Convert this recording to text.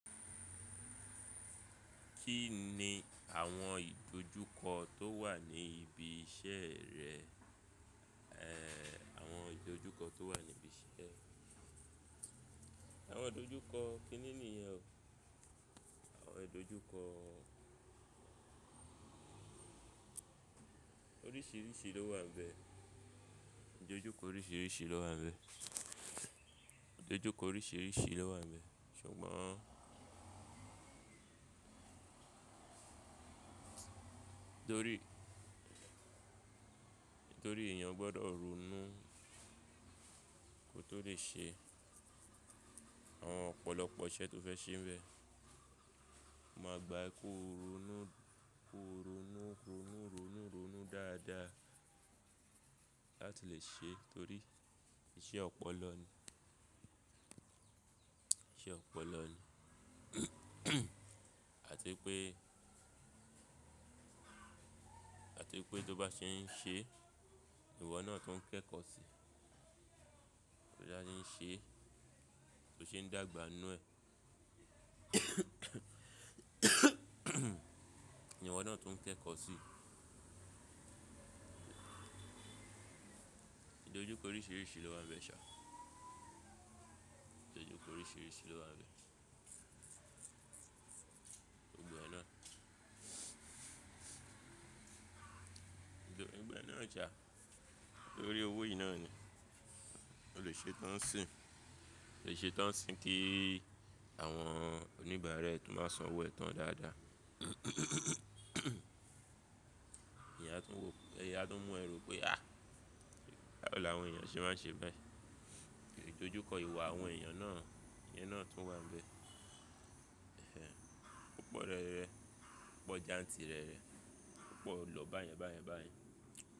Kí ni àwọn ìdojúkọ tó wà ní ibi iṣẹ́ rẹ? Èè àwọn ìdojúkọ tó wà ní ibi iṣẹ́. Àwọn ìdojúkọ, kíni nìyẹn o? Àwọn ìdojúkọ oríṣìíríṣìí ló wà nbẹ̀. Ìdojúkọ oríṣìíríṣìí ló wà níbẹ̀. Ìdojúkọ oríṣìíríṣìí ló wà níbẹ̀, ṣùgbọ́n nítorí, nítorí èèyàn gbọ́dọ̀ ronú kó tó lè ṣe àwọn ọ̀pọ̀lọpọ̀ iṣẹ́ tó fẹ́ ṣe n bẹ̀, o máa gbà kó ronú, kó ronú, ronú, ronú, ronú dáadáa láti lè ṣe, torí iṣẹ́ ọ̀pọ̀lọ ni. Iṣẹ́ ọ̀pọ̀lọ ni. Àti pé, àti pé tó bá ṣe ń ṣe ìwọ náà tuń kẹ́kọ̀ọ́ sí, tó jẹ́ ẹni ṣe, tó ṣe ń dàgbà nú ẹ. Ìwọ náà tuń kẹ́kọ̀ọ́ sí. Ìdojúkọ oríṣìíríṣìí ló wa ń bẹ ṣá. Ìdojúkọ oríṣìíríṣìí ló máa ń bẹ. Gbogbo e náà. Nítorí gbogbo e náà so, torí owó yìí náà ni. O lè ṣe tán n sìn. O lè ṣe tán n sìn kí àwọn oníbàára ẹ tun má san owó ẹ tán dáadáa. Ẹ̀yàn a tuń wò, ẹ̀yi a tuń mú ẹ ro pé àh!, báwo làwọn èèyàn ṣe máa ń ṣe báyìí? Ìdojúkọ ìwà àwọn èèyàn náà, iyen náà tó wà n bẹ̀. Ẹ̀hẹ̀hn, ó pọ̀ rẹ́rẹ, ó pọ̀ jantì rẹ́rẹ, ó pọ̀ lọ báyẹn báyẹn báyẹn.